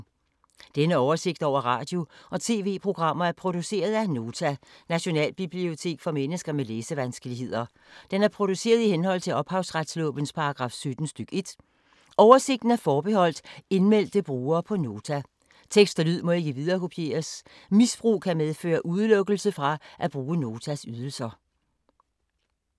Denne oversigt over radio og TV-programmer er produceret af Nota, Nationalbibliotek for mennesker med læsevanskeligheder. Den er produceret i henhold til ophavsretslovens paragraf 17 stk. 1. Oversigten er forbeholdt indmeldte brugere på Nota. Tekst og lyd må ikke viderekopieres. Misbrug kan medføre udelukkelse fra at bruge Notas ydelser.